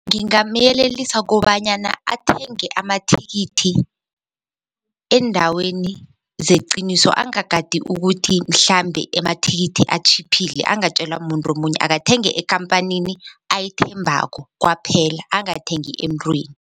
Ngingamyelelisa kobanyana athenge amathikithi eendaweni zeqiniso angagadi ukuthi mhlambe emathikithi atjhiphile angatjelwa mumuntu omunye akathenge ekhamphanini ayithembako kwaphela angathengi emntwini.